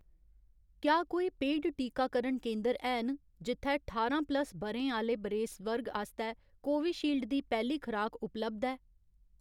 क्या कोई पेड टीकाकरण केंदर हैन जित्थै ठारां प्लस ब'रें आह्ले बरेस वर्ग आस्तै कोविशील्ड दी पैह्ली खराक उपलब्ध ऐ